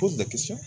Ko